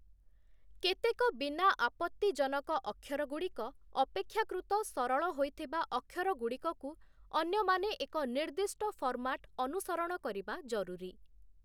କେତେକ ବିନା ଆପତ୍ତିଜନକ ଅକ୍ଷରଗୁଡ଼ିକ, ଅପେକ୍ଷାକୃତ ସରଳ ହୋଇଥିବା ଅକ୍ଷରଗୁଡ଼ିକକୁ ଅନ୍ୟମାନେ ଏକ ନିର୍ଦ୍ଦିଷ୍ଟ ଫର୍ମାଟ୍ ଅନୁସରଣ କରିବା ଜରୁରୀ ।